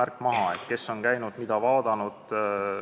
märk maha, kes on seal käinud ja mida vaadanud.